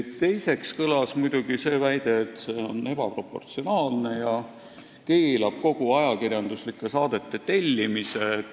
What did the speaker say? Teiseks kõlas muidugi see väide, et see on ebaproportsionaalne ja keelab kogu ajakirjanduslike saadete tellimise.